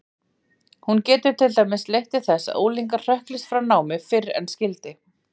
Hún getur til dæmis leitt til þess að unglingar hrökklist frá námi fyrr en skyldi.